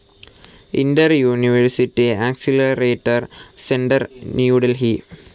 Inter university accelerator centre New Delhi